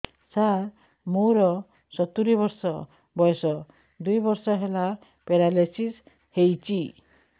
ସାର ମୋର ସତୂରୀ ବର୍ଷ ବୟସ ଦୁଇ ବର୍ଷ ହେଲା ପେରାଲିଶିଶ ହେଇଚି